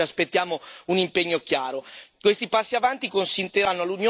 Dovrà essere coinvolto e informato, e su questo ci aspettiamo un impegno chiaro.